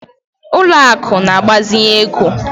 Ụlọ akụ̀ na-agbazinye ego.